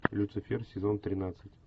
люцифер сезон тринадцать